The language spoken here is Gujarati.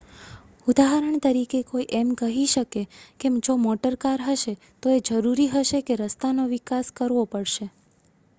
ઉદાહરણ તરીકે કોઈ એમ કહી શકે કે જો મોટર કાર હશે તો એ જરૂરી હશે કે રસ્તાનો વિકાસ કરવો પડશે